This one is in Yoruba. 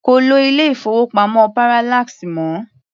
Kò lo ilé-ìfowópamọ́ Parallax mọ́.